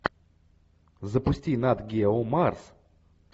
запусти нат гео марс